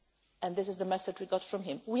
and this is the message we got from him.